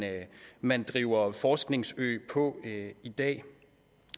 man driver forskningsø på i dag